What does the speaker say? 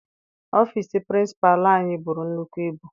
Ọfịịsi pirincipalu anyị buru nnukwu ibu.